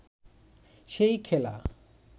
সেই খেলা